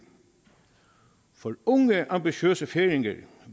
for unge ambitiøse færinger